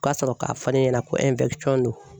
U ka sɔrɔ k'a fɔ ne ɲɛna ko don.